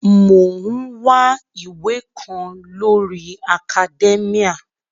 Mò ń wá ìwé kan lórii akadẹ́míà